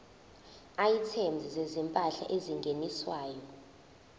items zezimpahla ezingeniswayo